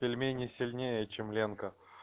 пельмени сильнее чем ленка